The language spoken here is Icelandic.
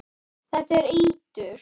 Þetta er eitur.